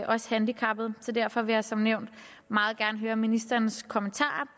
også handicappede så derfor vil jeg som nævnt meget gerne høre ministerens kommentar